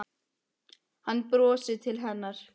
Hann brosir til hennar.